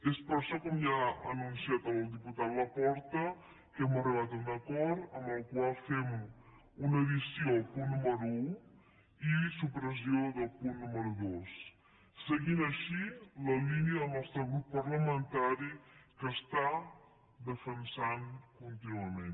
és per això com ja ha anunciat el diputat laporta que hem arribat a un acord amb el qual fem una addició al punt número un i supressió del punt número dos seguint així la línia que el nostre grup parlamentari defensa contínuament